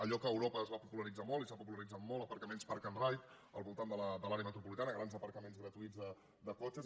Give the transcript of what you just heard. allò que a europa es va popularitzar molt i s’ha popularitzat molt aparcaments park and ride al voltant de l’àrea metropolitana grans aparcaments gratuïts de cotxes